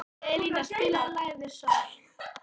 Elina, spilaðu lagið „Sól“.